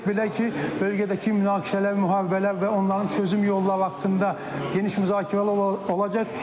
belə ki, bölgədəki münaqişələr, müharibələr və onların çözüm yolları haqqında geniş müzakirələr olacaq.